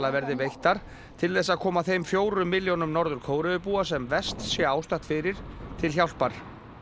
verði veittar til þess að koma þeim fjórum milljónum Norður Kóreubúa sem verst sé ástatt fyrir til hjálpar